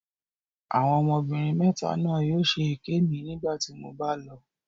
Àwọn ọmọbìnrin mẹta náà yóò ṣe èké mi nígbà tí mo bá lọ.